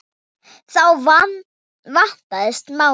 Þá vandast málið.